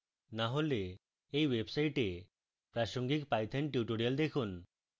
না হলে এই website প্রাসঙ্গিক python tutorials দেখুন